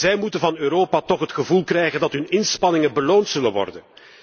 Zij moeten van Europa toch het gevoel krijgen dat hun inspanningen beloond zullen worden.